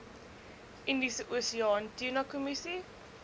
indiese oseaan tunakommissie